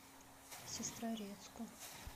сестрорецку